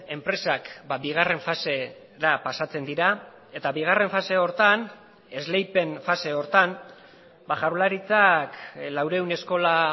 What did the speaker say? enpresak bigarren fasera pasatzen dira eta bigarren fase horretan esleipen fase horretan jaurlaritzak laurehun eskola